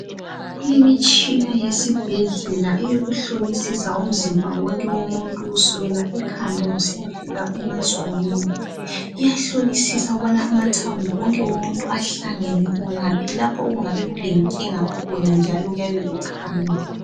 Ikhona imitshini ezibhedlela ehlola umzimba wonke womuntu kusukela ekhanda kusiyafika emazwaneni. Leyi mitshini iyahlolisisa lokuthi amathambo omuntu ahlangene lokubonisa lapho okuyabe kulenkinga khona.